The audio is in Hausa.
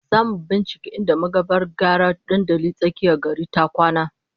Zamu binciki inda magavar gyara dandalin tsakiyar gari ta kwana